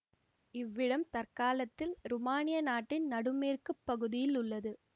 இவ்விடம் தற்காலத்தில் ருமானியா நாட்டின் நடு மேற்கு பகுதியில் உள்ளது